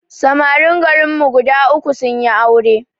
Samarin garin mu guda uku sunyi aure